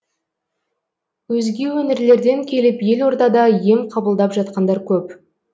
өзге өңірлерден келіп елордада ем қабылдап жатқандар көп